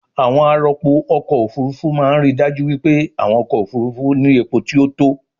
àwọn arọpo-ọkọ̀ òfurufú máa ń ríi dájú wípé àwọn ọkọ̀ òfurufú ní epo tí ó tó